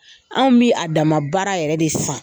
Anw bɛ a dama bara yɛrɛ de san.